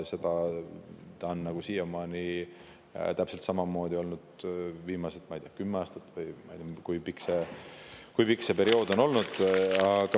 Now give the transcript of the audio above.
See on olnud täpselt samamoodi viimased kümme aastat, või kui pikk see periood on olnud.